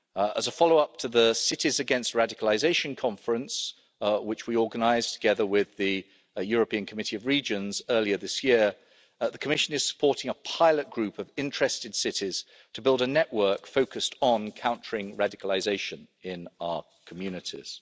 As a follow up to the Cities Against Radicalisation conference, which we organised together with the European Committee of the Regions earlier this year, the Commission is supporting a pilot group of interested cities in building a network focused on countering radicalisation in our communities.